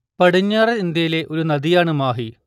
പടിഞ്ഞാറൻ ഇന്ത്യയിലെ ഒരു നദിയാണ് മാഹി